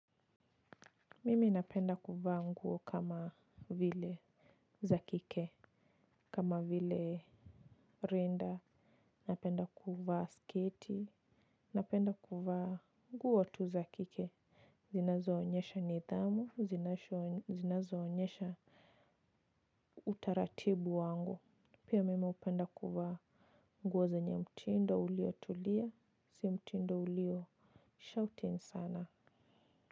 Mimi napenda kuvaa nguo kama vile zakike kama vile rinda napenda kuvaa sketi napenda kuvaa nguo tu zakike zinazo onyesha nidhamu zinazo onyesha utaratibu wangu pia mimi upenda kuvaa nguo zenye mtindo ulio tulia si mtindo ulio shouting sana.